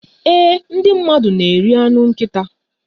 Ee, Ndị mmadụ na-eri anụ nkịta